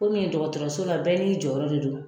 Komi dɔgɔtɔrɔso la , bɛɛ n'i jɔyɔrɔ de don.